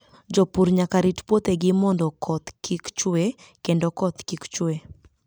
Jopur nyaka rit puothegi mondo koth kik chue kendo koth kik chue.